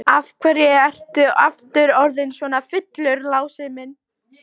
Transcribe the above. Af hverju ertu aftur orðinn svona fullur, Lási minn?